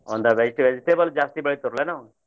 ಹೊಲ್ದಾಗ ಐತೆ vegetable ಜಾಸ್ತಿ ಬೆಳಿತವ್ರ್ ಏನೋ.